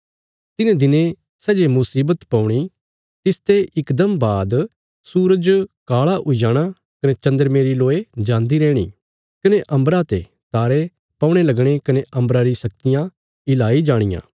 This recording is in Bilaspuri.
तिन्हें दिनें सै जे मुशीवत पौणी तिसते इकदम बाद सूरज काला हुई जाणा कने चन्द्रमे री लोय जान्दी रैहणी कने अम्बरा ते तारे पौणे लगणे कने अम्बरा री शक्तियां हिलाई जाणियां